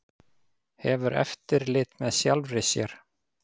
Hefur eftirlit með sjálfri sér